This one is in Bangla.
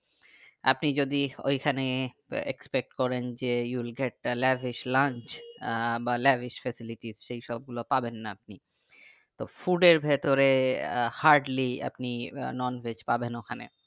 আপনি যদি ওই খানে expect করেন যে you will get the lavish lunch uh বা lavish facilities সেই সব গুলো পাবেননা আপনিতো food এর ভিতরে আহ heardly আপনি non veg পাবেন ওখানে